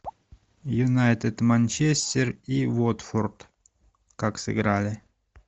юнайтед манчестер и уотфорд как сыграли